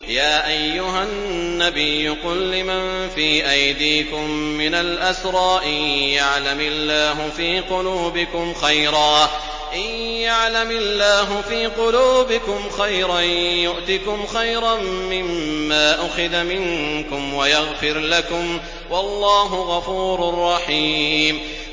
يَا أَيُّهَا النَّبِيُّ قُل لِّمَن فِي أَيْدِيكُم مِّنَ الْأَسْرَىٰ إِن يَعْلَمِ اللَّهُ فِي قُلُوبِكُمْ خَيْرًا يُؤْتِكُمْ خَيْرًا مِّمَّا أُخِذَ مِنكُمْ وَيَغْفِرْ لَكُمْ ۗ وَاللَّهُ غَفُورٌ رَّحِيمٌ